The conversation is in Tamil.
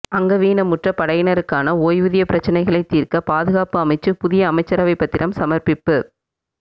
அங்கவீனமுற்ற படையினருக்கான ஓய்வூதிய பிரச்சினைகளை தீர்க்க பாதுகாப்பு அமைச்சு புதிய அமைச்சரவை பத்திரம் சமர்ப்பிப்பு